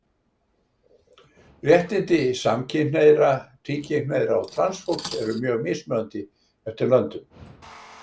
Réttindi samkynhneigðra, tvíkynhneigðra og transfólks eru mjög mismunandi eftir löndum.